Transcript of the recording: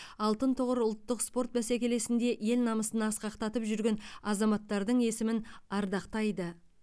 алтын тұғыр ұлттық спорт бәсекелесінде ел намысын асқақтатып жүрген азаматтардың есімін ардақтайды